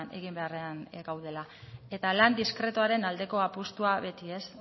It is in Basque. egin beharrean gaudela eta lan diskretuaren aldeko apustua beti ez